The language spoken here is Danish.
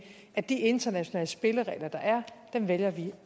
at de internationale spilleregler der er vælger vi